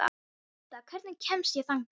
Edda, hvernig kemst ég þangað?